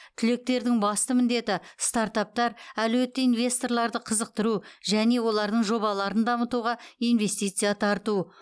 түлектердің басты міндеті стартаптар әлеуетті инвесторларды қызықтыру және олардың жобаларын дамытуға инвестиция тарту